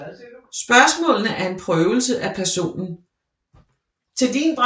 Spørgsmålene er en prøvelse af personen